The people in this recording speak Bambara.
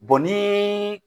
ni